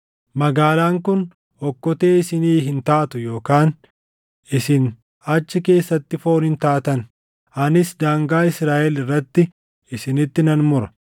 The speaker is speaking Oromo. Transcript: Magaalaan kun okkotee isinii hin taatu yookaan isin achi keessatti foon hin taatan; anis daangaa Israaʼel irratti isinitti nan mura.